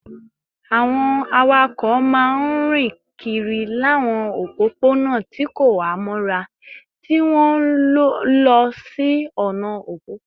Àwọn awakọ̀ máa ń rìn kiri láwọn òpópónà tí kò há mọ́ra, tí wọ́n ń lọ sí ọ̀nà òpópónà